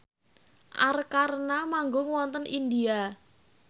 Arkarna manggung wonten India